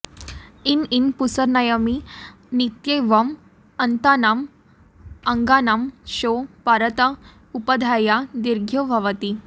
in हन् पूषनर्यमनित्येवम् अन्तानाम् अङ्गानां शौ परत उपधाया दीर्घो भवति